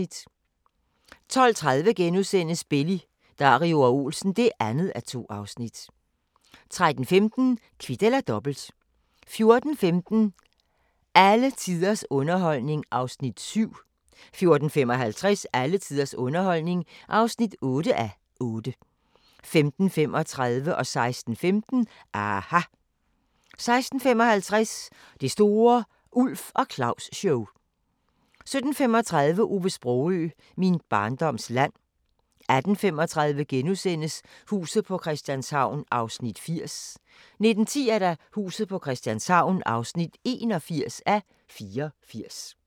12:30: Belli, Dario og Olsen (2:2)* 13:15: Kvit eller Dobbelt 14:15: Alle tiders underholdning (7:8) 14:55: Alle tiders underholdning (8:8) 15:35: aHA! 16:15: aHA! 16:55: Det store Ulf og Claus-show 17:35: Ove Sprogøe – Min barndoms land 18:35: Huset på Christianshavn (80:84)* 19:10: Huset på Christianshavn (81:84)